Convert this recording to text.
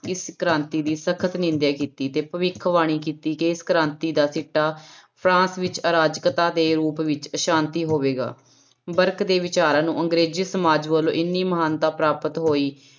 ਇਸ ਕ੍ਰਾਂਤੀ ਦੀ ਸਖ਼ਤ ਨਿੰਦਿਆ ਕੀਤੀ ਤੇ ਭਵਿੱਖਬਾਣੀ ਕੀਤੀ ਕਿ ਇਸ ਕ੍ਰਾਂਤੀ ਦਾ ਸਿੱਟਾ ਫਰਾਂਸ ਵਿੱਚ ਆਰਾਜਕਤਾ ਦੇ ਰੂਪ ਵਿੱਚ ਅਸਾਂਤੀ ਹੋਵੇਗਾ, ਬਰਕ ਦੇ ਵਿਚਾਰਾਂ ਨੂੰ ਅੰਗਰੇਜ਼ੀ ਸਮਾਜ ਵੱਲੋਂ ਇੰਨੀ ਮਹਾਨਤਾ ਪ੍ਰਾਪਤ ਹੋਈ